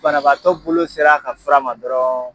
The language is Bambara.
Banabaatɔ bolo ser'a ka fura ma dɔrɔn